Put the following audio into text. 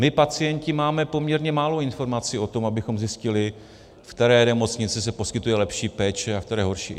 My pacienti máme poměrně málo informací o tom, abychom zjistili, v které nemocnici se poskytuje lepší péče a v které horší.